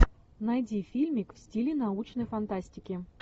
найди фильмик в стиле научной фантастики